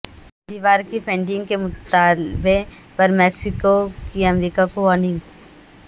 دیوار کی فنڈنگ کے مطالبے پر میکسیکو کی امریکہ کو وارننگ